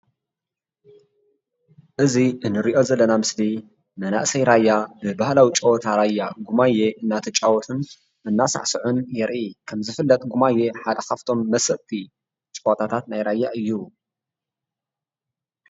እዚንሪኦ ዘለና ምስሊ መናእሰይ ራያ ብባህላዊ ጨዋታ ራያ ጉማዬ እናተጫወቱን እናሳዕስዑን የርኢ፡፡ ከምዝፍለጥ ጉማዬ ሓደ ካብቶም መሰጥቲ ጨዋታታት ናይ ራያ እዩ፡፡